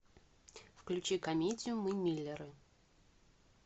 включи комедию мы миллеры